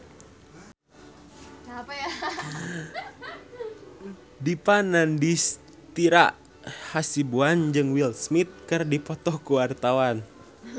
Dipa Nandastyra Hasibuan jeung Will Smith keur dipoto ku wartawan